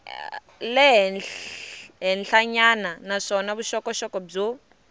le henhlanyana naswona vuxokoxoko byo